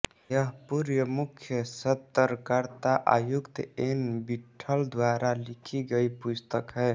यह पूर्व मुख्य सतर्कता आयुक्त एन विट्ठल द्वारा लिखी गयी पुस्तक है